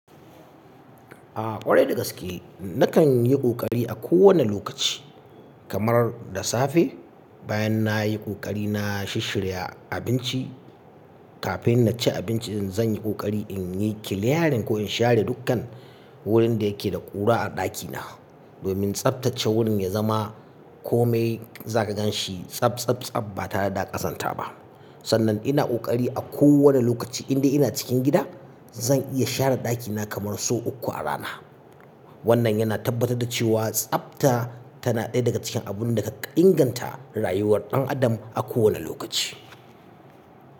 A ƙwarai da gaske, nakan yi ƙoƙari a kowane lokaci kamar da safe, bayan nayi kokari na shishshirya abinci, kafin na ci abinci zan yi kokari in yi clearing ko in share dukkan wurin da yake da ƙura a ɗakina domin tsaftace wurin ya zama kome za ka gan shi tsab tsab tsab ba ta dare da ƙazanta ba. Sannan ina ƙoƙari a kowane lokaci indai ina cikin gida zan iya share ɗakina kamar sau uku a rana. Wannan yana tabbatar da cewa tsafta tana ɗaya daga cikin abin da ka kan inganta rayuwar ɗan adam a kowane lokaci.